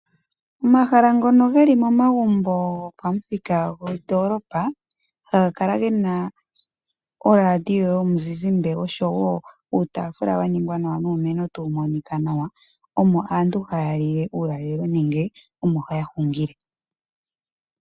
Omahala ngono geli momagumbo gopamuthika gondoolopa. Ohaga kala ge na oradio yomuzizimba osho woo uutaafula wa ningwa nawa nuumeno tawu monika nawa. Omo aantu haya lile uulalelo nenge omo haya hungile.